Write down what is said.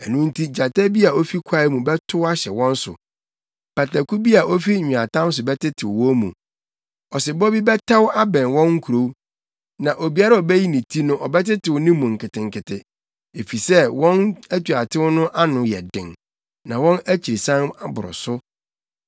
Ɛno nti gyata bi a ofi kwae mu bɛtow ahyɛ wɔn so, pataku bi a ofi nweatam so bɛtetew wɔn mu. Ɔsebɔ bi bɛtɛw abɛn wɔn nkurow, na obiara a obeyi ne ti no ɔbɛtetew ne mu nketenkete, efisɛ wɔn atuatew no ano yɛ den na wɔn akyirisan aboro so.